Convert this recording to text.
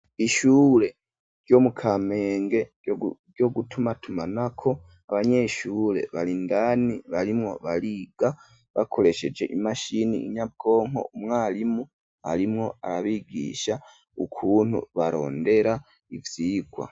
Ishure ryo mu kamenge ryo gutumatumanako abanyeshure barindani barimwo bariga bakoresheje imashini nyabwonko umwarimu arimwo arabigisha ukuntu barondera ivyigwa.